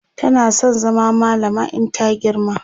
tana San zama mallama in ta girma